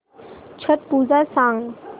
छट पूजा सांग